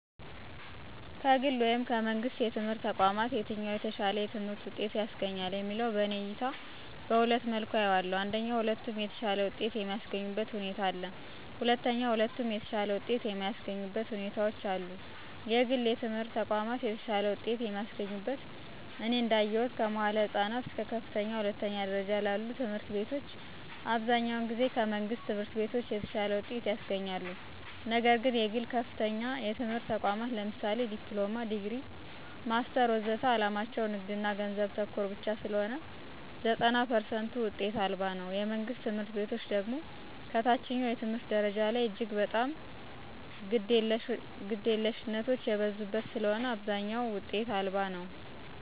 ከግል ወይም ከመንግሥት የትምህርት ተቋማት የትኛው የተሻለ የትምህርት ውጤት ያስገኛል የሚለው በእኔ እይታ በሁለት መልኩ አየዋለሁ አንደኛ ሁለቱም የተሻለ ውጤት የሚስገኙበት ሁኔታ አለ። ሁለተኛ ሁለቱም የተሻለ ውጤት የማያሰገኙበት ሁኔታዎች አሉ። የግል የትምህረት ተቋማት የተሻለ ውጤት የሚያስገኙት እኔ እዳየሁት ከመዋዕለ ህፃናት እስከ ከፍተኛ ሁለተኛ ደረጃ ላሉ ትምህርት ቤቶች አብዛኛውን ጊዜ ከመንግሥት ትምህርት ቤቶች የተሻለ ውጤት ያስገኛሉ። ነግር ግን የግል ከፍተኛ የትምህርት ተቋማት ለምሳሌ ዲፕሎማ፣ ዲግሪ፣ ማስተር ወዘተ ዓላማቸው ንግድና ገንዘብ ተኮር ብቻ ስለሆነ ዘጠና ፐርሰንቱ ውጤት አልባ ነው። የመንግስት ትምህርት ቤቶች ደግሞ ከታችኛው የትምህርት ደረጃ ላይ እጅግ በጣም ግደለሽነቶች የበዙበት ስለሆነ አብዛኛው ውጤት አልባ ነው።